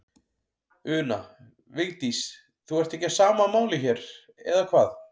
Una: Vigdís, þú ert ekki á sama máli hér, eða hvað?